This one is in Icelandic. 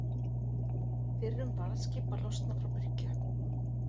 Fyrrum varðskip að losna frá bryggju